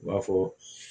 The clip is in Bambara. I b'a fɔ